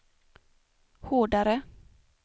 hårdare